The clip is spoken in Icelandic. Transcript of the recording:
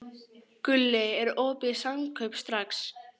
Gulli, er opið í Samkaup Strax?